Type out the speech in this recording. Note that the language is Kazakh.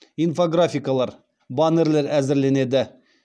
инфографикалар баннерлер әзірленеді